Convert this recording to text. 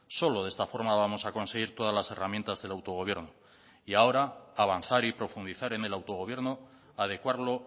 solo de esta forma vamos a conseguir todas las herramientas del autogobierno y ahora avanzar y profundizar en el autogobierno adecuarlo